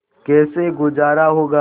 कैसे गुजारा होगा